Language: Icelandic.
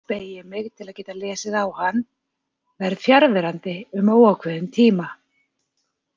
Beygi mig til að geta lesið á hann: Verð fjarverandi um óákveðinn tíma.